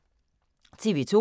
TV 2